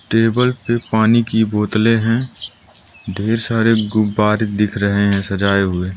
table पे पानी की बोतलें है ढेर सारे गुब्बारे दिख रहे है सजाए हुए --